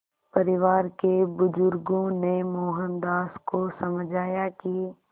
परिवार के बुज़ुर्गों ने मोहनदास को समझाया कि